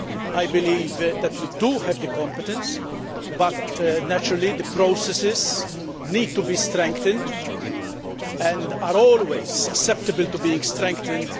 I believe that we have the competence, but naturally the processes need to be strengthened and are always susceptible to being strengthened.